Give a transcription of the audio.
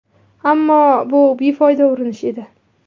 Ammo bu befoyda urinish edi.